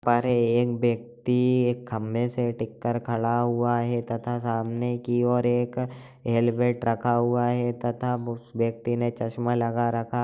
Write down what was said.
पर एक व्यक्ति एक खम्बे से टिक कर खड़ा हुआ है तथा सामने की ओर एक हेलमेट रखा हुआ है तथा व्यक्ति ने चश्मा लगा रखा है ।